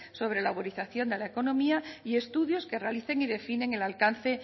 sobre la uberización de la economía y estudios que realicen y definen el alcance